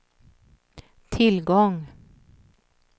tillgång